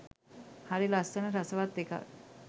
හරි ලස්සන රසවත් එකක්.